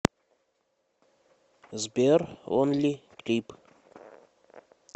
сбер онли клип